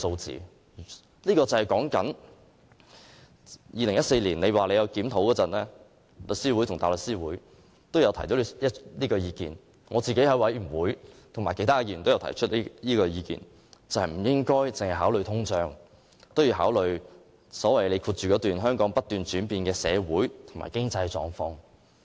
政府在2014年曾進行檢討，當時香港律師會和香港大律師公會也有提出這意見，而我與其他委員在小組委員會上亦提出不應該只考慮通脹，亦要考慮本港不斷轉變的社會和經濟狀況。